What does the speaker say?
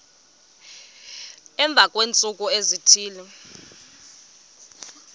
emva kweentsuku ezithile